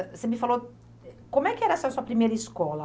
Você me falou, como é que era essa sua primeira escola?